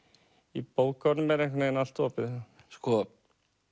í bókunum er einhvern veginn allt opið sko